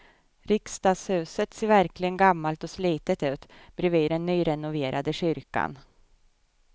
Riksdagshuset ser verkligen gammalt och slitet ut bredvid den nyrenoverade kyrkan.